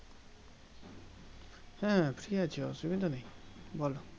হ্যাঁ Free অসুবিধা নেই বলো